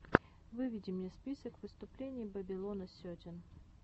выведи мне список выступлений бэбилона сетин